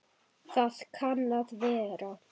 Það kann að vera